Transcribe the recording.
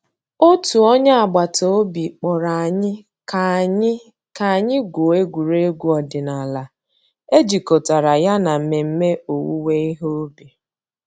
Ọ̀tù ònyè àgbàtà òbì kpọ̀rọ̀ ànyị̀ kà ànyị̀ kà ànyị̀ gụ̀ọ̀ ègwè́ré́gwụ̀ òdìnàlà è jìkọ̀tàrà yà nà mmẹ̀mmẹ̀ òwùwé ìhè ǔbì.